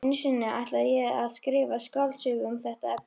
Einu sinni ætlaði ég að skrifa skáldsögu um þetta efni.